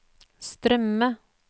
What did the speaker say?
strømme